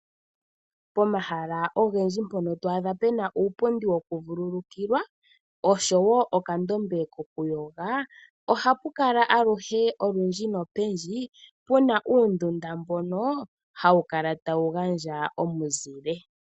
Pomahala ogendji mpono to a dha pe na uupundi wokuvululukilwa osho woo okandombe kokuyoga, oha pu kala aluhe olundji nopendji pu na uundunda mbono hawu kala ta wu gandja omuzile.